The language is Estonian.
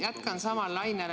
Jätkan samal lainel.